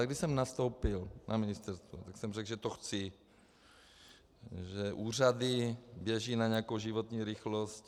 A když jsem nastoupil na ministerstvu, tak jsem řekl, že to chci, že úřady běží na nějakou životní rychlost.